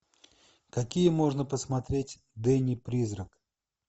какие можно посмотреть дэнни призрак